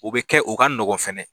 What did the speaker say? U bɛ kɛ o ka nɔgɔn fana